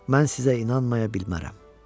Mən sizə inanmaya bilmərəm.